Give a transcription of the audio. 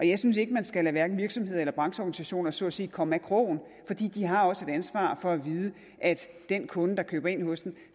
jeg synes ikke man skal lade hverken virksomheder eller brancheorganisationer så at sige komme af krogen for de har også et ansvar for at vide at den kunde der køber ind hos dem